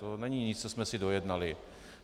To není nic, co jsme si dojednali.